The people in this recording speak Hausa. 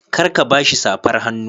Kar ka ba shi safar hannu.